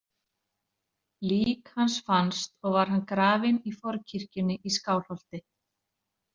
Lík hans fannst og var hann grafinn í forkirkjunni í Skálholti.